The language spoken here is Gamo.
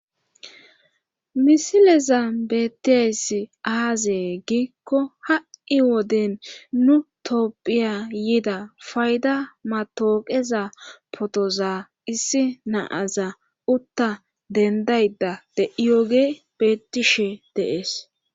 misileza bettes aazee giikko ha7i woden nu toopphiya yiida fayda matooqeza potoza issi naaza utta dendayda de7iyoge betishe deees